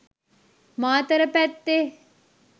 මාතර පැත්තේ.